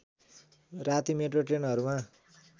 राति मेट्रो ट्रेनहरूमा